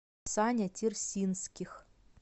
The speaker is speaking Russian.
саня терсинских